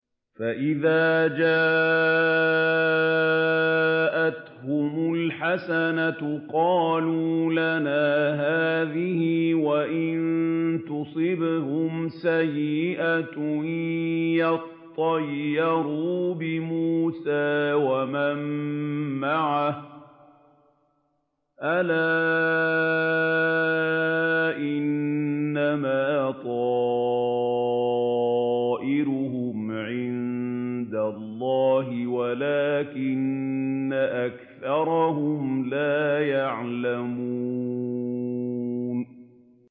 فَإِذَا جَاءَتْهُمُ الْحَسَنَةُ قَالُوا لَنَا هَٰذِهِ ۖ وَإِن تُصِبْهُمْ سَيِّئَةٌ يَطَّيَّرُوا بِمُوسَىٰ وَمَن مَّعَهُ ۗ أَلَا إِنَّمَا طَائِرُهُمْ عِندَ اللَّهِ وَلَٰكِنَّ أَكْثَرَهُمْ لَا يَعْلَمُونَ